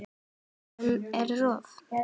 Veðrun og rof